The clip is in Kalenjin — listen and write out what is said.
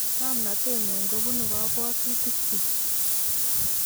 "Ng'omnatet nyun kobunuu kabwatutik chuk "